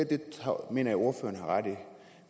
mener jeg at ordføreren har ret i